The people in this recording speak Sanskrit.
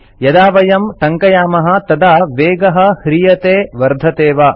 यदा वयं टङ्कयामः तदा वेगः ह्रीयते वर्धते वा